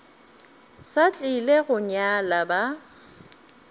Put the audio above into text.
sa tlile go nyala ba